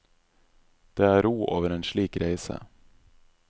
Det er ro over en slik reise.